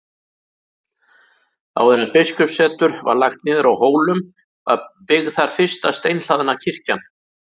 Áður en biskupssetur var lagt niður á Hólum var byggð þar fyrsta steinhlaðna kirkjan.